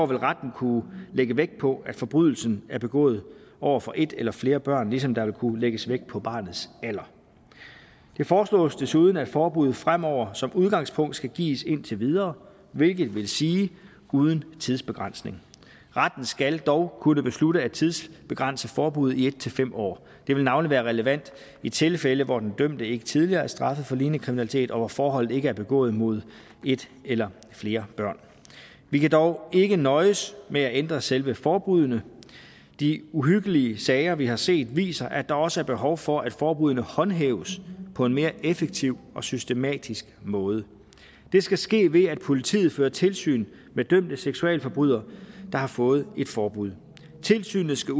vil retten kunne lægge vægt på at forbrydelsen er begået over for et eller flere børn ligesom der vil kunne lægges vægt på barnets alder det foreslås desuden at forbuddet fremover som udgangspunkt skal gives indtil videre hvilket vil sige uden tidsbegrænsning retten skal dog kunne beslutte at tidsbegrænse forbuddet i en fem år det vil navnlig være relevant i tilfælde hvor den dømte ikke tidligere er straffet for lignende kriminalitet og hvor forholdet ikke er begået mod et eller flere børn vi kan dog ikke nøjes med at ændre selve forbuddene de uhyggelige sager vi har set viser at der også er behov for at forbuddene håndhæves på en mere effektiv og systematisk måde det skal ske ved at politiet fører tilsyn med dømte seksualforbrydere der har fået et forbud tilsynet skal